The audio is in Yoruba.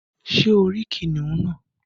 Sé o rí kìnìún náà